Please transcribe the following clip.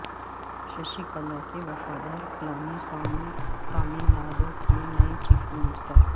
ششی کلا کے وفادار پلانی سوامی ٹاملناڈو کے نئے چیف منسٹر